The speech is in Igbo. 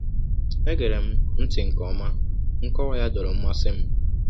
E gerem ntị nke ọma, nkọwa ya dọọrọ mmasị m.